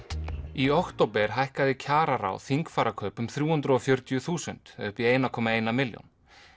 í október hækkaði kjararáð þingfarakaup um þrjú hundruð og fjörutíu þúsund upp í eitt komma eina milljón